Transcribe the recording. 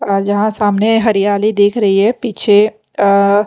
और यहाँ सामने हरियाली दिख रही है पीछे अ --